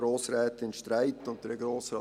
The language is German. Grossrätin Streit und Grossrat